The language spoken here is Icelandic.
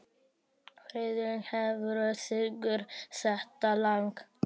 Friðlín, hver syngur þetta lag?